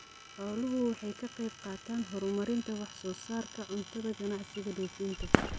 Xooluhu waxay ka qaybqaataan horumarinta wax soo saarka cuntada ganacsiga dhoofinta.